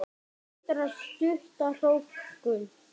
Hindrar stutta hrókun.